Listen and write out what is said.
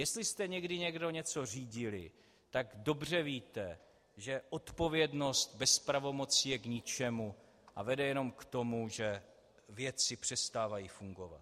Jestli jste někdy někdo něco řídili, tak dobře víte, že odpovědnost bez pravomoci je k ničemu a vede jenom k tomu, že věci přestávají fungovat.